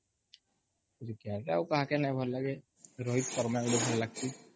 cricket ରେ ଆଉ କାହାକୁ ନାଇଁ ଭଲ ଲାଗେ ରୋହିତ ଶର୍ମା ଗୋଟେ ଥିଲା